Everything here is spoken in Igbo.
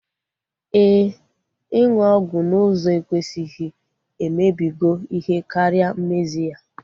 Éè, ịnụ ọgwụ n'ụzọ ekwesịghị emebigo ihe karịa mmezi ya